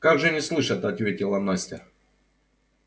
как же не слышат ответила настя